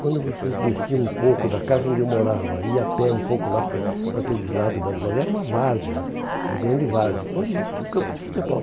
Quando você descia um pouco da casa onde eu morava, ia a pé um pouco lá para o para aqueles lados das marginais, era uma várzea, uma grande várzea, onde existia o campo de futebol.